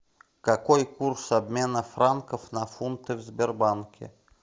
какой курс обмена франков на фунты в сбербанке